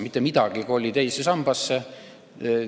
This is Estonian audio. Mitte midagi ei koli teise sambasse!